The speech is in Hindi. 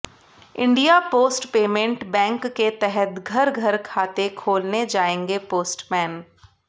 इंडिया पोस्ट पेमेंट बैंक के तहत घर घर खाते खोलने जाएंगे पोस्टमैन